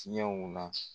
Tiɲɛw na